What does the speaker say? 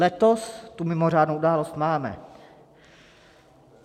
Letos tu mimořádnou událost máme.